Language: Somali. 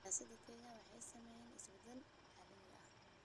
Siyaasadda Kenya waxaa saameeyay isbeddellada caalamiga ah.